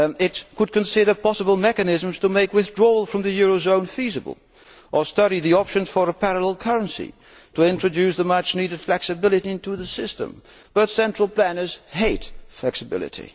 It could consider possible mechanisms to make withdrawal from the eurozone feasible, or study the options for a parallel currency to introduce much needed flexibility into the system. But central planners hate flexibility.